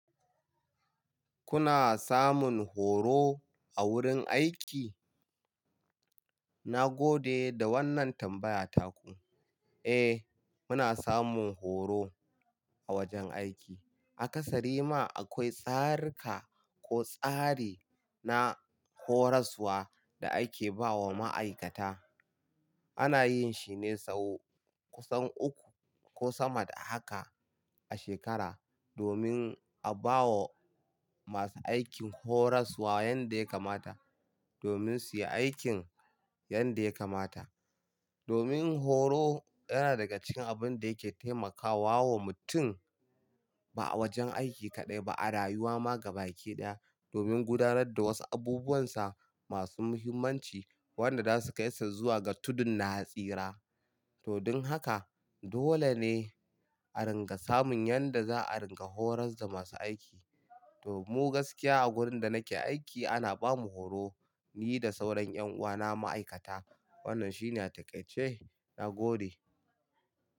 Kuna samun horo a wurin aiki? Na gode da wannan tambaya taku. Eh, muna samun horo a wajen aiki. A ƙasari ma akwai tsarika ko tsari na horaswa da ake ba wa ma'aikata. Ana yin shi ne sau kusan uku ko sama da haka a shekara domin a ba wa masu aikin horaswa yanda ya kamata domin su yi aikin yanda ya kamata. Domin horo yana daga cikin abin da yake taimakawa wa mutum ba a wajen aiki kaɗai ba, a rayuwa ma gaba ɗaya domin gudanar da wasu abubuwansa masu muhimmanci wanda za su kai sa zuwa ga tudun na tsira. To don haka dole ne a ringa samun yanda za a ringa horas da masu aiki. To mu gaskiya a wurin da nake aiki ana bamu horo ni da sauran yan uwana ma'aikata. Wannan shine taƙaice. Na gode.